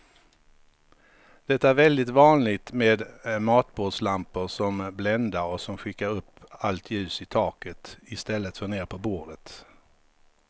Det är väldigt vanligt med matbordslampor som bländar och som skickar upp allt ljus i taket i stället för ner på bordet.